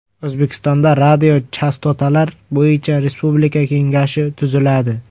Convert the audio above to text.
O‘zbekistonda Radiochastotalar bo‘yicha respublika kengashi tuziladi.